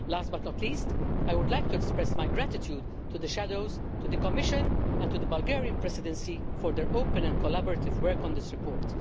Last, but not least, I would like to express my gratitude to the shadow rapporteurs, to the Commission and to the Bulgarian Presidency for their open and collaborative work on this report.